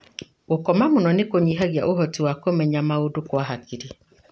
Gũkoma mũno nĩkũnyihagia ũhoti wa kũmenya maũndu kwa hakiri.